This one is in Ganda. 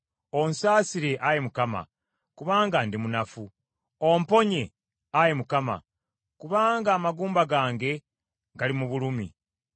Onsaasire, Ayi Mukama , kubanga ndi munafu. Omponye, Ayi Mukama , kubanga amagumba gange gali mu bulumi.